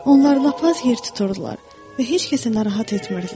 Onlar lap az yer tuturdular və heç kəsi narahat etmirdilər.